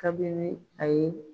Kabini a ye